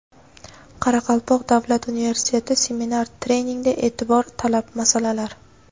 Qoraqalpoq davlat universiteti: seminar-treningda e’tibor talab masalalar.